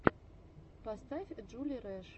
поставь джули рэш